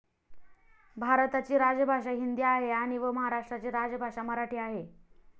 भारताची राजभाषा हिंदी आहे आणि व महाराष्ट्राची राजभाषा मराठी आहे.